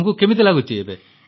ତୁମକୁ କେମିତି ଲାଗୁଛି